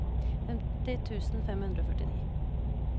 femti tusen fem hundre og førtini